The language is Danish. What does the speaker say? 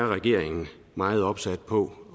regeringen meget opsat på